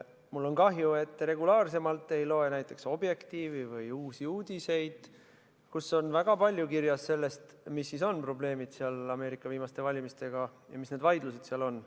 Mul on kahju, et te regulaarsemalt ei loe näiteks Objektiivi või Uusi Uudiseid, kus on kirjas väga palju sellest, mis siis on probleemid Ameerika viimaste valimistega ja mis need vaidlused seal on.